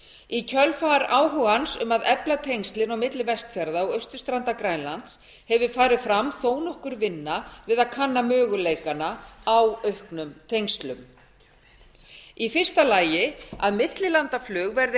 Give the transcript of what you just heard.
í kjölfar áhugans um að efla tengslin á milli vestfjarða og austurstrandar grænlands hefur farið fram þó nokkur vinna við að kanna möguleikana á auknum tengslum fyrstu millilandaflug verði